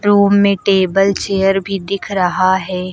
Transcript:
Room में table chair भी दिख रहा है।